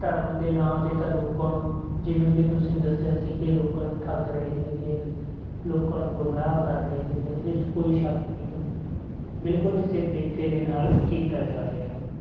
ਧਰਮ ਦੇ ਨਾਂ ਤੇ ਤਾਂ ਲੋਕਾਂ ਨੂੰ ਜਿਵੇਂ ਕਿ ਤੁਸੀਂ ਦੱਸਿਆ ਸੀ ਕਿ ਲੋਕਾਂ ਨੂੰ ਠੱਗ ਰਹੇ ਹੈਗੇ ਆ ਗੇ, ਲੋਕਾਂ ਨੂੰ ਗੁੰਮਰਾਹ ਕਰ ਰਹੇ ਹੈਗੇ ਆ ਇਹਦੇ 'ਚ ਕੋਈ ਸ਼ੱਕ ਨਹੀਂ ਗਾ, ਬਿਲਕੁਲ ਉਸੇ ਤਰੀਕੇ ਦੇ ਨਾਲ ਕੀਤਾ ਜਾ ਰਿਹਾ ਗਾ।